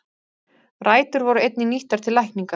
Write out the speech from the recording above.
Rætur voru einnig nýttar til lækninga.